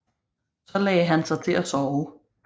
Så lagde han sig til at sove